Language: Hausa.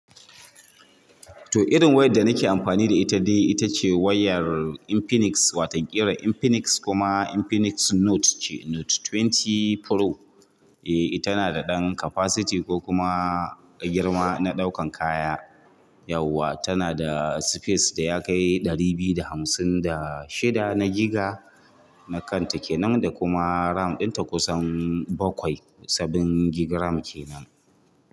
To irin wayar da nake amfani da ita dai ita ce wayar Infinix, watan kiran Infinix kuma Infinix Note ce, Note ashirin Pro. Eh tana da ɗan capacity eh girma na dauan kaya. Tana da space da ya kai ɗari biyu da hamsin da shida na giga na kanta kenan da kuma RAM ɗinta kusan bakwai seven gigiram kenan.